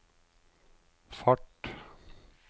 fart